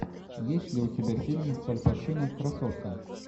есть ли у тебя фильм с аль пачино красотка